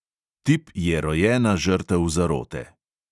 Tip je rojena žrtev zarote.